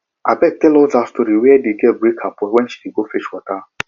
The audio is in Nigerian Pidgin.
abeg tell us dat story where the girl break her pot wen she dey go fetch water